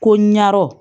Ko ɲarɔ